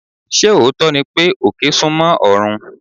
Ṣé òótọ́ ni pé, òkè súnmọ́ ọ̀run?